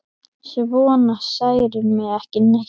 Svona særir mig ekki neitt.